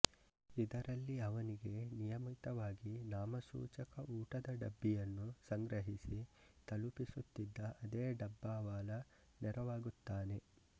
ಇದರಲ್ಲಿ ಅವನಿಗೆ ನಿಯಮಿತವಾಗಿ ನಾಮಸೂಚಕ ಊಟದ ಡಬ್ಬಿಯನ್ನು ಸಂಗ್ರಹಿಸಿ ತಲುಪಿಸುತ್ತಿದ್ದ ಅದೇ ಡಬ್ಬಾವಾಲಾ ನೆರವಾಗುತ್ತಾನೆ